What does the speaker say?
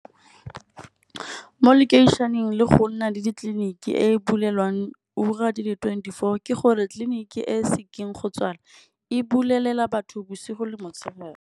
Mo lekeišheneng le go nna le ditleliniki e e bulelang ura di le twenty four, ke gore tliliniki e sekeng go tswala e bulela batho bosigo le motshegare.